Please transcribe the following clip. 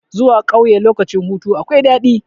Zuwa ƙauye lokacin hutu akwai daɗi.